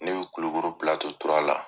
Ne bɛ Kulukoro Pilato sabanan la.